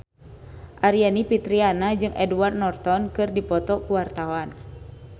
Aryani Fitriana jeung Edward Norton keur dipoto ku wartawan